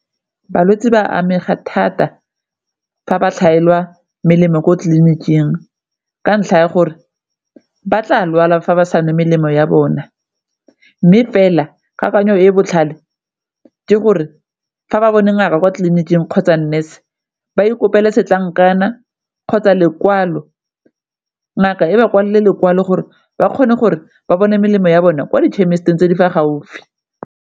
Balwetse ba amega thata fa ba tlhaelwa melemo ko tleliniking ka ntlha ya gore ba tla lwala fa ba sa nwe melemo ya bona, mme fela kakanyo e e botlhale ke gore fa ba bone ngaka kwa tleliniking kgotsa nurse ba ikopele setlankana kgotsa lekwalo, ngaka e ba kwala lekwalo gore ba kgone gore ba bone melemo ya bona kwa di-chemist-ing tse di fa gaufi.